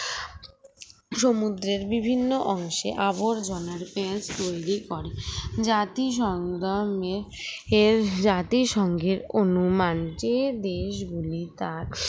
সমুদ্রের বিভিন্ন অংশে আবর্জনার পেচ তৈরি করে জাতিসংগ্রামে এর জাতিসংঘের অনুমানকে দেশগুলি তার